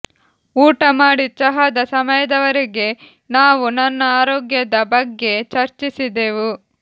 ಊಟ ಮಾಡಿ ಚಹಾದ ಸಮಯದವರೆಗೆ ನಾವು ನನ್ನ ಆರೋಗ್ಯದ ಬಗ್ಗೆ ಚರ್ಚಿಸಿದೆವು